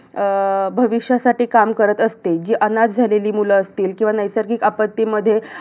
अं भविष्यासाठी काम करत असते. जी अनाथ झालेली मुलं असतील किंवा नैसर्गिक आपत्तीमध्ये